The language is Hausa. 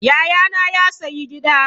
Yayana ya sayi Gida.